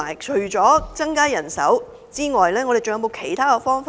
除增加人手外，是否還有其他方法呢？